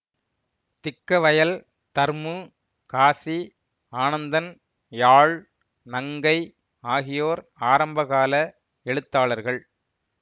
திக்கவயல் தர்மு காசி ஆனந்தன் யாழ் நங்கை ஆகியோர் ஆரம்பகால எழுத்தாளர்கள்